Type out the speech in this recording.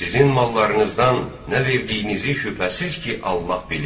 Sizin mallarınızdan nə verdiyinizi şübhəsiz ki, Allah bilir.